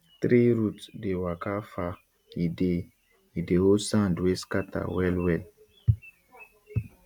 tree root dey waka far e dey e dey hold sand wey scatter well well